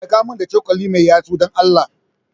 Taimaka min da cokali mai yatsu, Dan Allah.